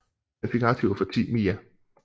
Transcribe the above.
Den fik aktiver for 10 mia